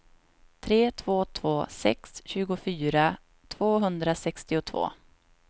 tre två två sex tjugofyra tvåhundrasextiotvå